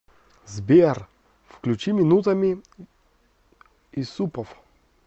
сбер включи минутами исупов